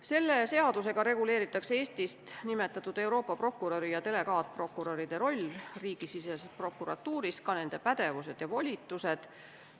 Selle seadusega reguleeritakse Eestist nimetatud Euroopa prokuröri ja delegaatprokuröride roll riigisiseses prokuratuuris, ka nende pädevused ja volitused.